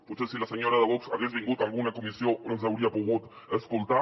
potser si la senyora de vox hagués vingut a alguna comissió els hauria pogut escoltar